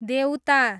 देउता